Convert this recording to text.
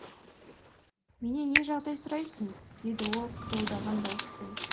менен не жағдай сұрайсың деді ол қырылдаған дауыспен